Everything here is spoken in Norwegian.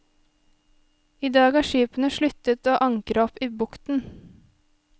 I dag har skipene sluttet å ankre opp i bukten.